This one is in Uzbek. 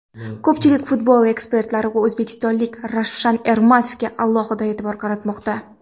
Ko‘pchilik futbol ekspertlari o‘zbekistonlik Ravshan Ermatovga alohida e’tibor qaratmoqda.